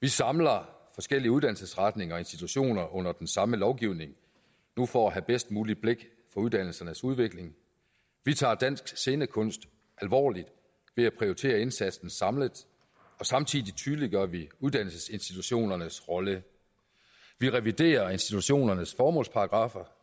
vi samler forskellige uddannelsesretninger og institutioner under den samme lovgivning nu for at have bedst muligt blik for uddannelsernes udvikling vi tager dansk scenekunst alvorligt ved at prioritere indsatsen samlet og samtidig tydeliggør vi uddannelsesinstitutionernes rolle vi reviderer institutionernes formålsparagraffer